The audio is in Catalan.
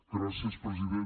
gràcies president